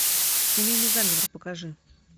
семейный заговор покажи